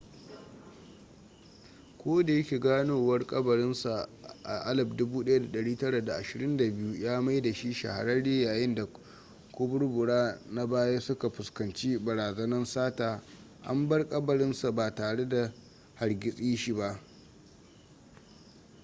ko da yake ganowar kabarin sa a 1922 ya maida shi shahararre yayin da kaburbura na baya suka fuskanci barazanan sata an bar kabarin sa ba tare da hargitse shi ba